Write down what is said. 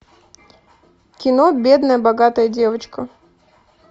кино бедная богатая девочка